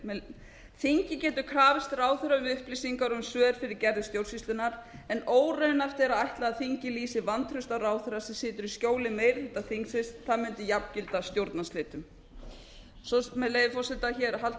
segir þingið getur krafið ráðherra um upplýsingar og um svör fyrir gerðir stjórnsýslunnar en óraunhæft er að ætla að lýsi vantrausti á ráðherra sem situr í skjóli meiri hluta þingsins það mundi jafngilda stjórnarslitum svo er með leyfi forseta hér haldið